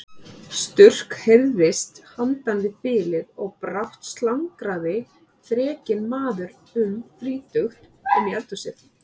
Skurk heyrðist handan við þilið og brátt slangraði þrekinn maður um þrítugt inn í eldhúsið.